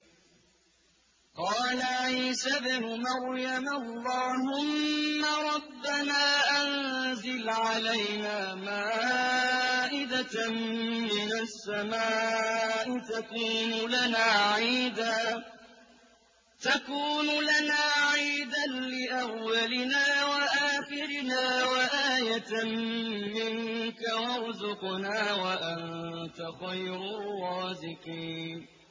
قَالَ عِيسَى ابْنُ مَرْيَمَ اللَّهُمَّ رَبَّنَا أَنزِلْ عَلَيْنَا مَائِدَةً مِّنَ السَّمَاءِ تَكُونُ لَنَا عِيدًا لِّأَوَّلِنَا وَآخِرِنَا وَآيَةً مِّنكَ ۖ وَارْزُقْنَا وَأَنتَ خَيْرُ الرَّازِقِينَ